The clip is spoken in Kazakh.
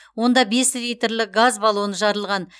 онда бес литрлік газ баллоны жарылған